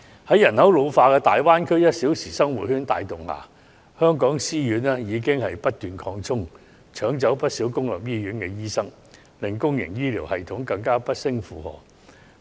在人口老化及大灣區 "1 小時生活圈"帶動下，香港私家醫院已不斷擴充，搶走了不少公立醫院醫生，令公營醫療系統更加不勝負荷。